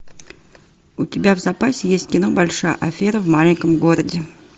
у тебя в запасе есть кино большая афера в маленьком городе